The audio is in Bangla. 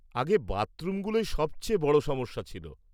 আগে বাথরুমগুলোই সবচেয়ে বড় সমস্যা ছিল।